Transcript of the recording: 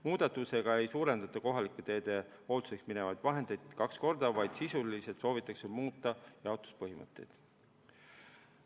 Muudatusega ei suurendata kohalike teede hoolduseks minevaid vahendeid kaks korda, vaid soovitakse muuta jaotuspõhimõtteid.